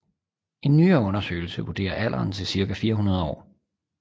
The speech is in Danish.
En nyere undersøgelse vurderer alderen til cirka 400 år